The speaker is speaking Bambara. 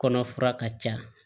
Kɔnɔ fura ka ca